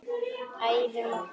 Æfum okkur.